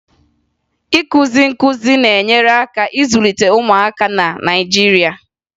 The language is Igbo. Ịkụzi nkụzi na-enyere aka ịzụlite ụmụaka na Naịjirịa